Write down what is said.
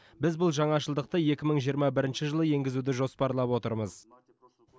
біз бұл жаңашылдықты екі мың жиырма бірінші жылы енгізуді жоспарлап отырмыз